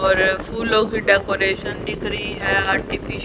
और फूलो की डकोरेशन दिख रही है आर्टिफि--